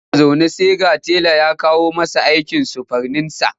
Yana zaune sai ga tela ya kawo masa aikin surfaninsa.